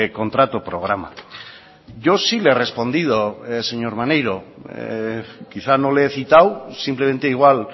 contrato programa yo sí le he respondido señor maneiro quizá no le he citado simplemente igual